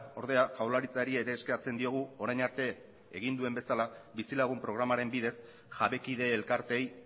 ordea jaurlaritzari ere eskatzen diogu orain arte egin duen bezala bizilagun programaren bidez jabekide elkarteei